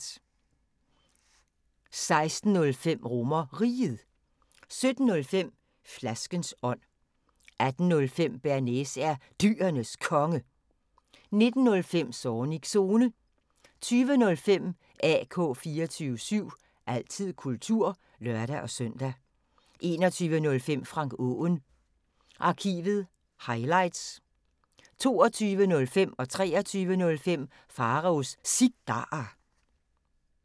16:05: RomerRiget 17:05: Flaskens ånd 18:05: Bearnaise er Dyrenes Konge 19:05: Zornigs Zone 20:05: AK 24syv – altid kultur (lør-søn) 21:05: Frank Aaen Arkivet – highlights 22:05: Pharaos Cigarer 23:05: Pharaos Cigarer